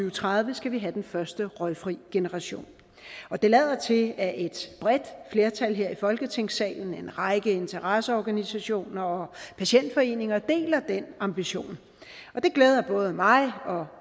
og tredive skal have den første røgfri generation og det lader til at et bredt flertal her i folketingssalen en række interesseorganisationer og patientforeninger deler den ambition det glæder både mig og